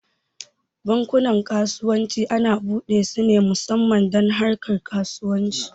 Bankunan kasuwanci ana buɗe su ne musamman don harkar kasuwanci